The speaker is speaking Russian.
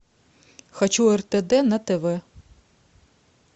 хочу ртд на тв